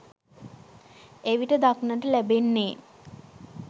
එවිට දක්නට ලැබෙන්නේ